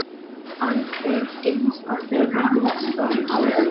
alveg eins og þegar ég var lítil.